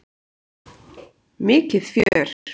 Mikið fjör!